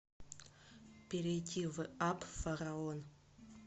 перейди в апп фараон